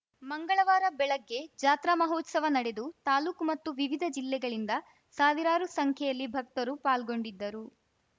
ಮಂಗಳವಾರ ಬೆಳಗ್ಗೆ ಜಾತ್ರಾ ಮಹೋತ್ಸವ ನಡೆದು ತಾಲೂಕು ಮತ್ತು ವಿವಿಧ ಜಿಲ್ಲೆಗಳಿಂದ ಸಾವಿರಾರು ಸಂಖ್ಯೆಯಲ್ಲಿ ಭಕ್ತರು ಪಾಲ್ಗೊಂಡಿದ್ದರು